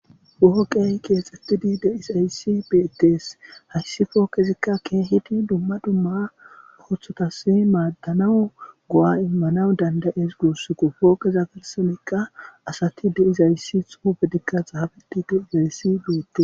Poqqeyi kexxetidi de'izayisi bettes hayissi poqqezika kehidi duma duma oththotasi madanaw go'a immanawu dandaes gussuko poqqeza sinthenka asati de'izayisi xuffetika xaffetidi de'zzayisi bettes.